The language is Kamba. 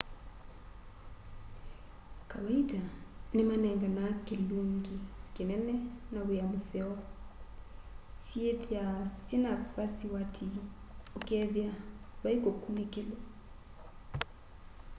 kawaita nimanenganaa kilungi kinene na wia museo syithwaa syina vasiwati ukethia vai kukunikilwa